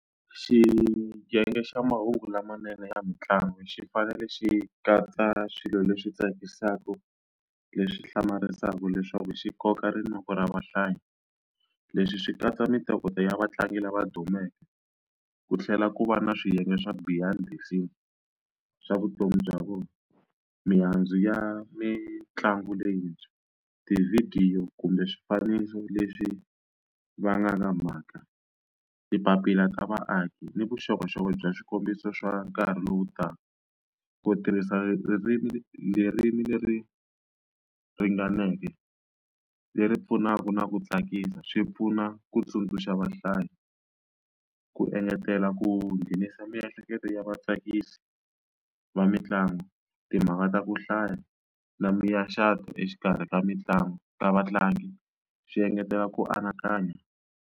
Xiyenge xa mahungu lamanene ya mitlangu xi fanele xi katsa swilo leswi tsakisaka, leswi hlamarisaka, leswaku xi koka rinoko ra vahlayi. Leswi swi katsa mintokoto ya vatlangi lava dumeke, ku tlhela ku va na swiyenge swa behind the scene swa vutomi bya vona, mihandzu ya mitlangu leyintshwa, tivhidiyo kumbe swifaniso leswi vangaka mhaka, mapapila ta vaaki ni vuxokoxoko bya swikombiso swa nkarhi lowu taka. Ku tirhisa ririmi leri leri ringaneke, leri pfunaka na ku tsakisa, swi pfuna ku tsundzuxa vahlayi. Ku engetela ku nghenisa miehleketo ya tsakisi va mitlangu, timhaka ta ku hlaya na exikarhi ka mitlangu ta vatlangi swi engetela ku anakanya.